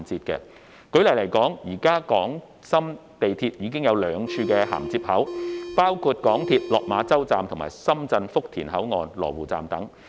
舉例而言，現時港深兩地的地鐵系統已有兩處銜接口，包括港鐵落馬洲站與深圳福田口岸，以及羅湖站。